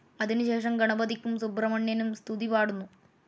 അതിനു ശേഷം ഗണപതിക്കും സുബ്രഹ്മണ്യനും സ്തുതിപാടുന്നു.